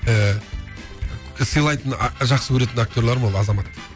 ііі сыйлайтын жақсы көретін актерларым ол азамат